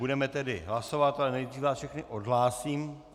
Budeme tedy hlasovat, ale nejdřív vás všechny odhlásím.